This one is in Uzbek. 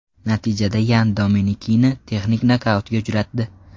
Natijada Yan Dominikini texnik nokautga uchratdi.